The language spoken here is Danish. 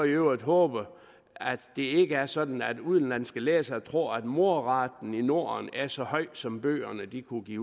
i øvrigt håbe at det ikke er sådan at udenlandske læsere tror at mordraten i norden er så høj som bøgerne kunne give